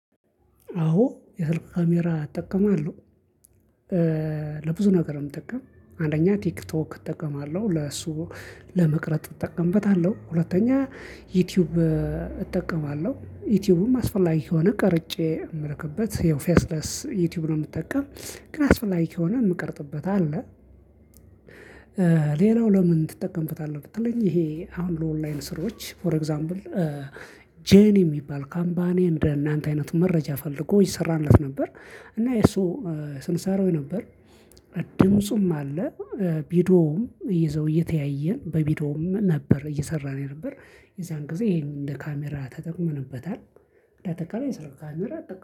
አዎ የስልክ ካሜራ እጠቀማለሁ። ለብዙ ነገር ነው የምጠቀም። አንደኛ ቲክቶክ እጠቀማለሁ ለሱ ለመቅረጥ እጠቀምበታለሁ። ሁለተኛ ዩቲዩብ እጠቀማለሁ። ዩቲዩቡም አስፈላጊ ከሆነ ቀርጬ የምልክበት ያው ፌስለስ ዩቲዩብን ነው የምጠቀም። ግን አስፈላጊ ከሆነ የምቀርጥበት አለ። ሌላው ለምን ትጠቀምበታለህ ብትለኝ። ይሄ አሁን ለኦንላይን ስራዎች ፎር ኤግዛምብል። ጄኒ የሚባል ካምፓኒ እንደናንተ አይነት መረጃ ፈልጎ ይሰራለት ነበር። እና የሱ ስንሳራው ነበር። ድምፁም አለ። ቪዲውም ይዘው እየተያየን በቪዶውም ነበር እየሰራን የነበር። የዛን ጊዜ ይሄንን እንደ ካሜራ ተጠቅመንበታል። እንዳጠቃላይ የሰርግ ካሜራ እጠቀ